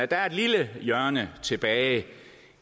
der er et lille hjørne tilbage